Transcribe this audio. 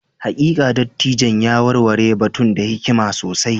Hakika, dattijon ya warware batun da hikima sosai.